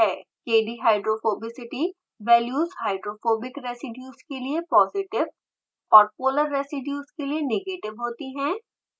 kdhydrophobicity values hydrophobic residues के लिए positive और polar residues के लिए नेगेटिव होती हैं